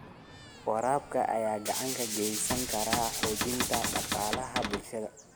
Waraabka ayaa gacan ka geysan kara xoojinta dhaqaalaha bulshada.